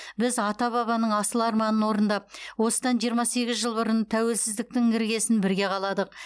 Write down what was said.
біз ата бабаның асыл арманын орындап осыдан жиырма сегіз жыл бұрын тәуелсіздіктің іргесін бірге қаладық